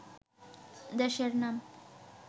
দেশের নাম